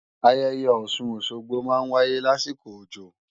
Ayẹyẹ Ọ̀sun-Òsogbo máa ń wáyé lásìkò òjò